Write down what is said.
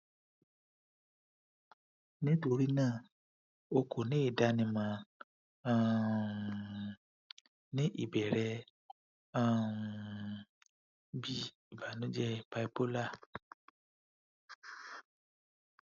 nitorina o ko ni idanimọ um ni ibẹrẹ um bi ibanujẹ bipolar